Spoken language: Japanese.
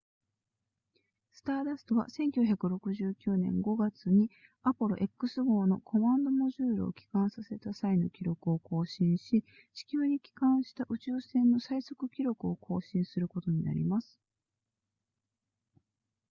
スターダストは1969年5月にアポロ x 号のコマンドモジュールを帰還させた際の記録を更新し地球に帰還した宇宙船の最速記録を更新することになります